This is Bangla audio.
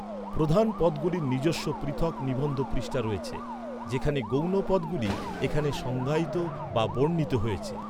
প্রধান পদগুলির নিজস্ব পৃথক নিবন্ধ পৃষ্ঠা রয়েছে, যেখানে গৌণ পদগুলি এখানে সংজ্ঞায়িত বা বর্ণিত হয়েছে।